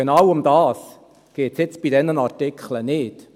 Genau darum geht es hier bei diesen Artikeln nicht.